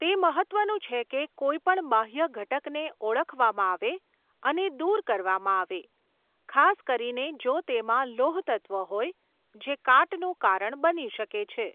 તે મહત્ત્વનું છે કે કોઈપણ બાહ્ય ઘટકને ઓળખવામાં આવે અને દૂર કરવામાં આવે, ખાસ કરીને જો તેમાં લોહતત્ત્વ હોય જે કાટનું કારણ બની શકે છે.